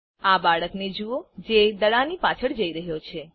આ બાળકને જુઓ જે દડાની પાછળ જઈ રહ્યો છે